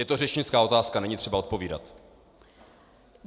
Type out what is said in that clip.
Je to řečnická otázka, není třeba odpovídat.